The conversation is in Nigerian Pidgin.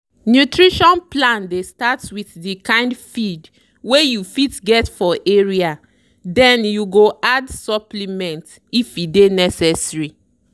nutrition plan dey start with the kind feed wey you fit get for area then you go add supplement if e dey necessary.